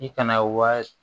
I kana wari